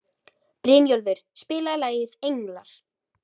Brynjólfur, spilaðu lagið „Englar“.